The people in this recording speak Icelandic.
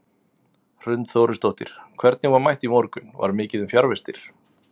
Hrund Þórisdóttir: Hvernig var mætt í morgun, var mikið um fjarvistir?